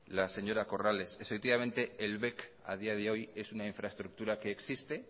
la de señora corrales el bec a día de hoy es una infraestructura que existe